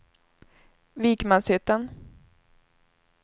Vikmanshyttan